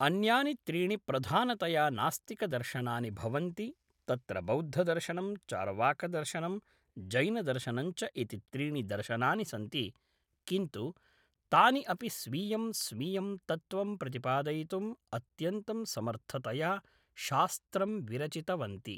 अन्यानि त्रीणि प्रधानतया नास्तिकदर्शनानि भवन्ति तत्र बौद्धदर्शनं चार्वाकदर्शनं जैनदर्शनञ्च इति त्रीणि दर्शनानि सन्ति किन्तु तानि अपि स्वीयं स्वीयं तत्त्वं प्रतिपादयितुं अत्यन्तं समर्थतया शास्त्रं विरचितवन्ति